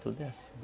Tudo é assim.